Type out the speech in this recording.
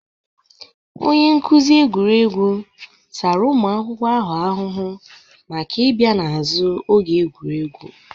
Onye nkuzi egwuregwu tara ụmụ akwụkwọ ahụ ahụhụ maka ịbịa n'azu oge egwuregwu.